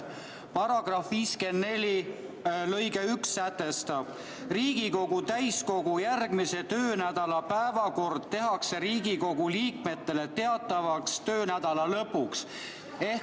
Selle § 54 lõige 1 sätestab, et Riigikogu täiskogu järgmise töönädala päevakord tehakse Riigikogu liikmetele teatavaks töönädala lõpuks.